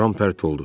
Ram pərt oldu.